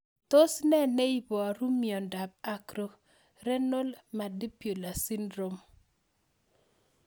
Tos nee neiparu miondop Acrorenal mandibular syndrome?